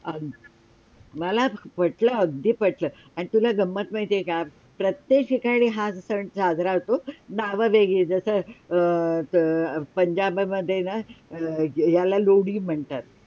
मलाच पटलं अगदी पटलं आणि तुला गम्मत माहिती आहे का? प्रत्येक ठिकाणी हा सण साजरा होतो नाव वेगळी जस अं पंजाबमधे याला लोढी म्हणतात